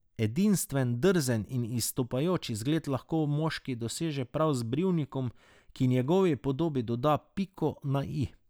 Edinstven, drzen in izstopajoč izgled lahko moški doseže prav z brivnikom, ki njegovi podobi doda piko na i.